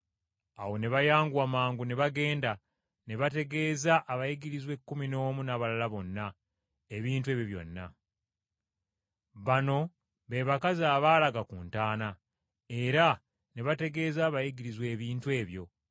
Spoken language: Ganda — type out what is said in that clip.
Awo ne bayanguwa mangu ne bagenda, ne bategeeza abayigirizwa ekkumi n’omu n’abalala bonna, ebintu ebyo byonna. Bano be bakazi abaalaga ku ntaana, era ne bategeeza abayigirizwa ebintu ebyo: